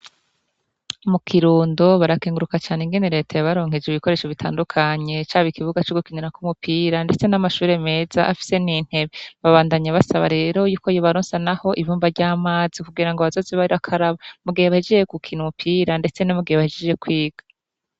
Mu Kirundo barakenguruka cane ingene Reta yabaronkeje ibikoresho bitandukanye, caba ikibuga co gukinira ko umupira, ndetse n'amashure meza afise n'intebe. Babandanya basaba rero yuko yobaronsa naho ibumba ry'amazi kugira ngo bazoze barakaraba mu gihe bahegeje gukina umupira ndetse no mu gihe bahejeje kwiga.